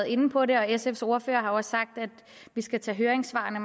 inde på det og sfs ordfører har også sagt at vi skal tage høringssvarene